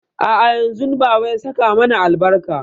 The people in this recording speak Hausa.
A'a yanzun baba ya saka mana albarka.